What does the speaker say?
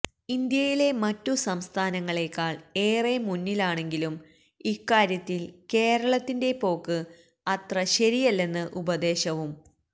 ഇന്ത്യയിലെ മറ്റു സംസ്ഥാനങ്ങളെക്കാൾ ഏറെ മുന്നിലാണെങ്കിലും ഇക്കാര്യത്തിൽ കേരളത്തിന്റെ പോക്ക് അത്ര ശരിയല്ലെന്ന് ഉപദേശവും